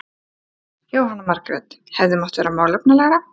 Jóhanna Margrét: Hefði mátt vera málefnalegra?